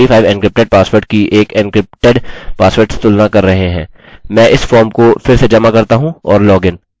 अतः हम अपने डेटाबेस में एक md5 एन्क्रिप्टेड पासवर्ड की एक एन्क्रिप्टेड पासवर्ड से तुलना कर रहे हैं